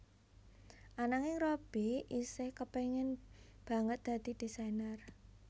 Ananging Robby isih kepengin banget dadi désainer